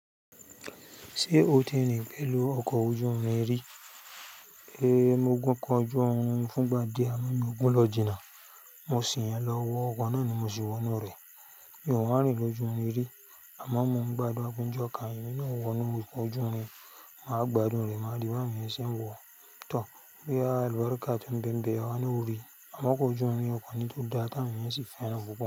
Ṣé o ti rin pẹ̀lú ọkọ̀ ojú irin rí? Ehn, mo gùn kan ọjọ́ orí fún gba dé àmọ́ mi ò gùn lọ ìjìnà. Mo sì yan lọ wọ ọkọ̀ náà ni mo sì wọnú rẹ̀. Mi ò wá rin lọ́jú irin rí àmọ́ mo ń gbádùn a pe ni jú kàn émi náà wọ́n nú ọjọ́ mi máa gbádùn rẹ̀, màá rí bàá awon yẹn ṣí ń wọ. Tọ, bọ́yá àlúkúlàka tó ń bẹ̀ nbẹ̀ àwa naa orí, àmọ́ kò jù mí ọkọ̀ mi tó dáa káni yẹn sì fẹ́ràn púpọ̀